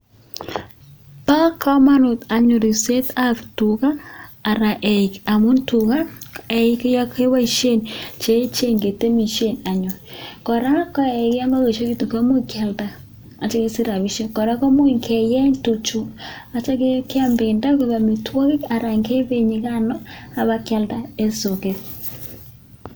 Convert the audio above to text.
Ba kamanut anyun ribset ab tuga Ara amun tuga kebaishen ketemishen anyun koraa komuch keyalda akesich rabishek wui keyeny tuchu akitya keyam bendo ak amitwagik ak benyikano akeyalda en soket